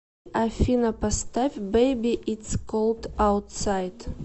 афина поставь бэйби итс колд аутсайд